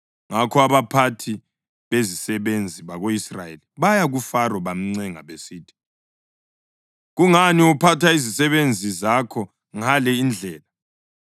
Ngakho abaphathi bezisebenzi bako-Israyeli baya kuFaro bamncenga besithi, “Kungani uphatha izisebenzi zakho ngale indlela?